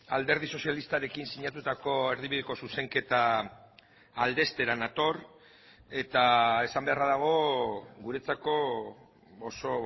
alderdi sozialistarekin sinatutako erdibideko zuzenketa aldeztera nator eta esan beharra dago guretzako oso